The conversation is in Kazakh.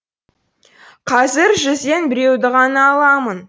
қазір жүзден біреуді ғана аламын